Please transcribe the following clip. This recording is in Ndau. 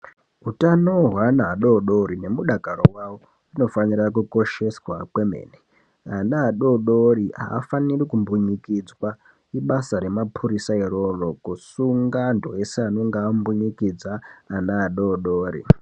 Utano hweana adodori nemudakaro wavo zvinofanira kukosheswa kwemene. Ana adodori aafaniri kumbunyikidzwa ibasa remapurisa iroro kusunga antu eshe anenge ambunyikidza ana adodori.